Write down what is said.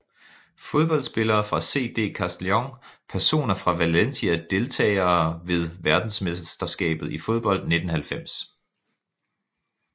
Fodboldspillere fra CD Castellón Personer fra Valencia Deltagere ved verdensmesterskabet i fodbold 1990